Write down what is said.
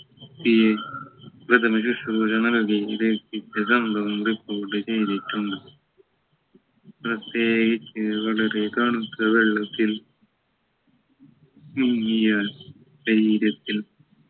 ഈ പ്രഥമ ശുശ്രൂഷ നൽകി രക്ഷിച്ച സംഭവം report ചെയ്തിട്ടുണ്ട് പ്രത്യേകിച്ച് വളരെ തണുത്ത വെള്ളത്തിൽ മുങ്ങിയാൽ ധൈര്യത്തിൽ